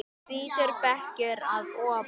Hvítur bekkur að ofan.